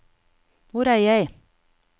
hvor er jeg